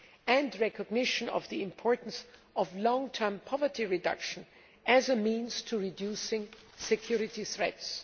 and recognition of the importance of long term poverty reduction as a means to reducing security threats.